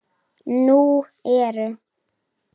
Nú eru